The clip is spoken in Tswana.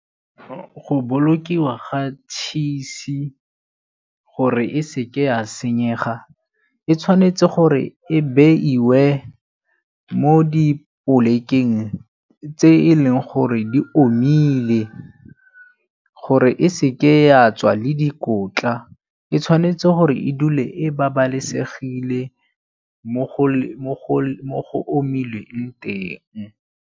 Go bolokiwa ga tšhisi gore e seke ya senyega, e tshwanetse gore e beiwe mo dipolekeng tse e leng gore di omile. Gore e seke ya tswa le dikotla e tshwanetse gore e bodule e babalesegile mo go omileng teng.